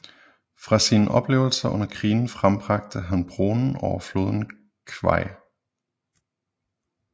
Fra sine oplevelser under krigen frembragte han Broen over floden Kwai